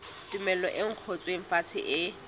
tumello e ngotsweng fatshe e